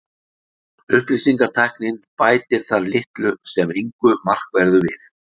upplýsingatæknin bætir þar litlu sem engu markverðu við